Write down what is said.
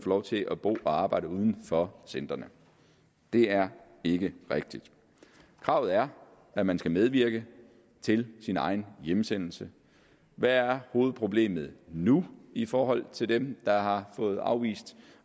lov til at bo og arbejde uden for centrene det er ikke rigtigt kravet er at man skal medvirke til sin egen hjemsendelse hvad er hovedproblemet nu i forhold til dem der har fået afvist